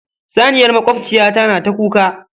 Saniyar makwabciyata na ta kuka.